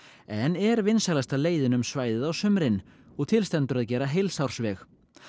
en er vinsælasta leiðin um svæðið á sumrin og til stendur að gera heilsársveg